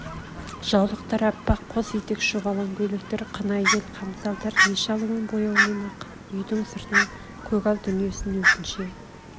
жаулықтар аппақ қос етек шұбалаң көйлектер қынай бел хамзалдар неше алуан бояумен ақ үйдің сыртын көгал дүниесін өзінше